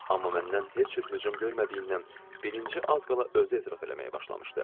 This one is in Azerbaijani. Amma məndən heç cür hücum görmədiyindən, birinci az qala özü etiraf eləməyə başlamışdı.